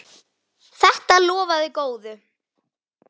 Þetta lofaði góðu!